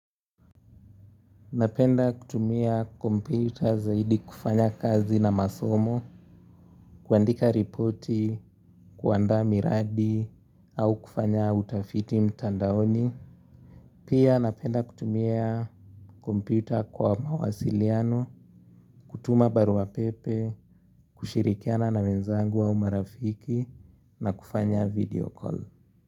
Napenda kutumia kompyuta zaidi kufanya kazi na masomo, kuandika ripoti, kuandaa miradi, au kufanya utafiti mtandaoni. Pia napenda kutumia kompyuta kwa mawasiliano, kutuma barua pepe, kushirikiana na wenzangu au marafiki, na kufanya video call.